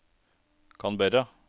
Canberra